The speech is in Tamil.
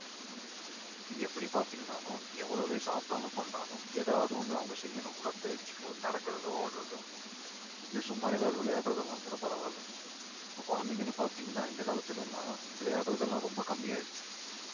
இங்க எப்படி பாத்தீங்கனாலும் எவ்வளவே சாப்பிட்டாலும் கொண்டாலும் ஏதாவது ஒண்ணு அவங்க செய்யணும் உடற்பயிற்சி ஒரு நடக்கிறதோ ஓடுறதோ இல்ல சும்மா ஏதாவது விளையாடுறதெல்லாம் கூட பரவாயில்லை இப்ப குழந்தைங்கன்னு பார்த்தீங்கன்னா இந்த காலத்துல எல்லாம் விளையாடுறது எல்லாம் ரொம்ப கம்மி ஆயிடுச்சு